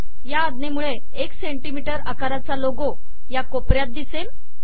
या आज्ञेमुळे एक सेंटीमीटर आकाराचा लोगो या कोपऱ्यात दिसेल